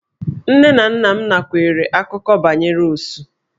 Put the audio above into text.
Nne na nna m nakweere akụkọ banyere Osu.